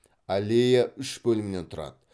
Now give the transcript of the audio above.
аллея үш бөлімнен тұрады